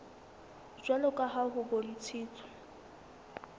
jwalo ka ha ho bontshitswe